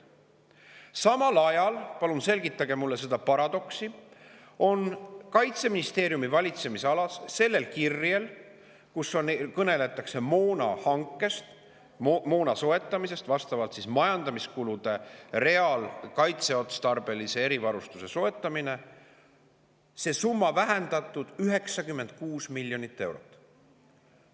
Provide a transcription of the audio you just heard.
Samal ajal – palun selgitage mulle seda paradoksi – on Kaitseministeeriumi valitsemisalas sellel kirjel, kus kõneldakse moonahankest – majandamiskulude real, kaitseotstarbelise erivarustuse soetamine –, summat vähendatud 96 miljoni euro võrra.